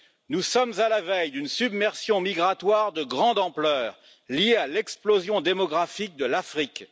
Nous sommes à la veille d'une submersion migratoire de grande ampleur, liée à l'explosion démographique de l'Afrique.